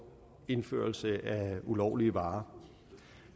indførelse af ulovlige varer